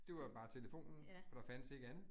Det var jo bare telefonen. For der fandtes ikke andet